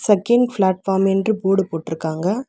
Second platform என்று board போட்ருக்காங்க.